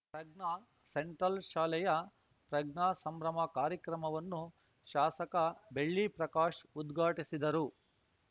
ಪ್ರಜ್ಞಾ central ಶಾಲೆಯ ಪ್ರಜ್ಞಾ ಸಂಭ್ರಮ ಕಾರ್ಯಕ್ರಮವನ್ನು ಶಾಸಕ ಬೆಳ್ಳಿ ಪ್ರಕಾಶ್‌ ಉದ್ಘಾಟಿಸಿದರು